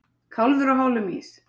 Kálfur á hálum ís